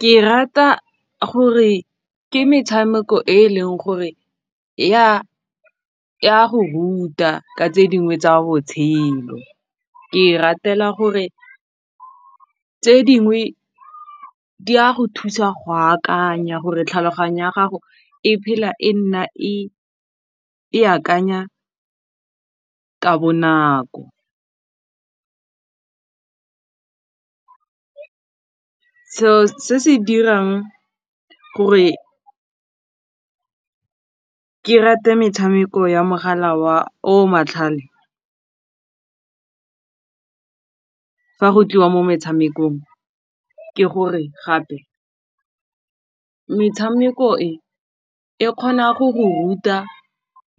Ke rata gore ke metshameko e e leng gore ya go ruta ka tse dingwe tsa botshelo ke e ratela gore tse dingwe di a go thusa go akanya gore tlhaloganyo ya gago e phela e nna e akanya ka bonako selo se se dirang gore ke rate metshameko ya mogala o matlhale fa go tliwa mo metshamekong ke gore gape metshameko e e kgona go go ruta